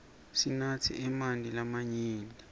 sinatse emanti lamanyenti